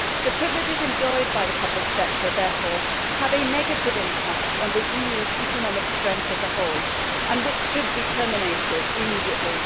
The privileges enjoyed by the public sector therefore have a negative impact on the EU's economic strength as a whole, and should be terminated immediately.